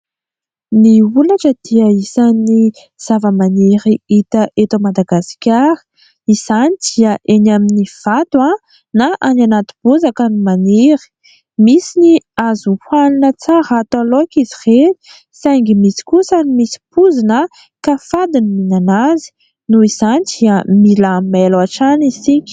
Ny holatra dia isan'ny zavamaniry hita eto Madagasikara. Izany dia eny amin'ny vato na any anaty bozaka no maniry. Misy ny azo hanina tsara, atao laoka izy ireny saingy misy kosa ny misy poizina ka fady ny mihinana azy ; noho izany dia mila mailo hatrany isika.